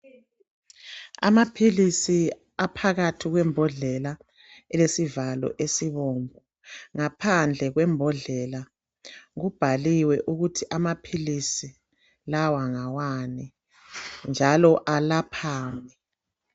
Amaphilisi aphakathi kwembodlela elesivalo esibomvu. Ngaphandle kwembodlela kubhaliwe ukuthi amaphilisi lawa ngawani njalo alaphani.